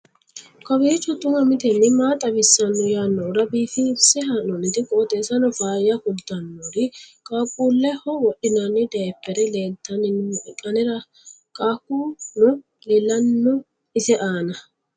kowiicho xuma mtini maa xawissanno yaannohura biifinse haa'noonniti qooxeessano faayya kultannori qaaquulleho wodhinanni dayiphere leelltanni nooe anera qaaquno leellanno ise aana